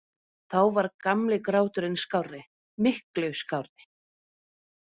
Þá var gamli gráturinn skárri- miklu skárri.